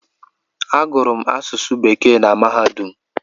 Agụrụ m asụsụ bekee na mahadum